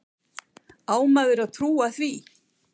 Á maður að trúa því?